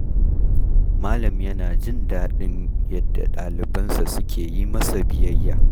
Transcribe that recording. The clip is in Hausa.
Malam yana jin daɗin yadda ɗalibansa suke yi masa biyayya.